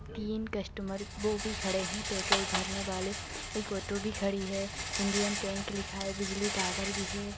तीन कस्टमर वो भी खड़े है पेट्रोल भरने वाले एक ऑटो भी खड़ी है इंडियन टैंक लिखा है बिजली टावर भी है।